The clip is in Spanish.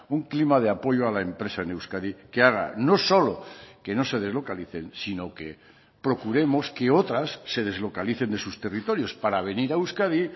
un clima de apoyo a la empresa en euskadi que haga no solo que no se deslocalicen sino que procuremos que otras se deslocalicen de sus territorios para venir a euskadi